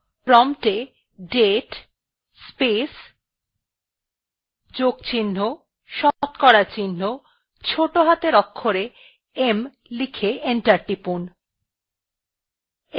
promptএ date space plus শতকরা চিহ্ন ছোটো হাতের অক্ষরে m লিখে enter টিপুন